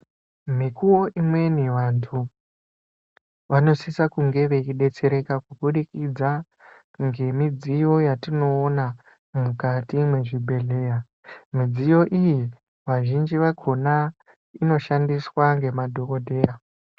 Mikuvo imweni vantu vanosisa ku nge vechi detsereka kubudikidza nge midziyo yatinoona mukati me zvibhedhleya midziyo iyi pazhinji pakona inoshandiswa ne madhokoteya.